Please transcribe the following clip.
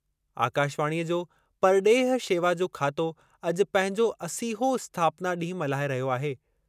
आकाशवाणीअ जो परडे॒ह शेवा जो खातो अॼु पंहिंजो असीहों स्थापना ॾींहुं मल्हाए रहियो आहे।